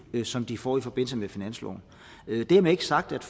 som de får i forbindelse med finansloven dermed ikke sagt at